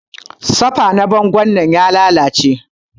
Safa na bango dinnan ya lalace.